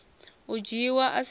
u dzhiiwa a si na